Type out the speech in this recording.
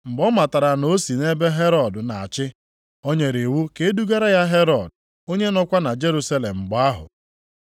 Mgbe ọ matara na o si nʼebe Herọd na-achị, o nyere iwu ka e dugara ya Herọd, onye nọkwa na Jerusalem mgbe ahụ.